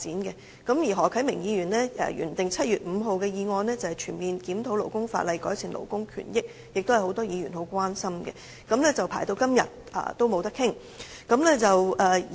此外，何啟明議員提出原訂於7月5日會議上討論的"全面檢討勞工法例，改善勞工權益"議案，亦是很多議員關心的議題；這兩項議案輪候至今尚未能討論。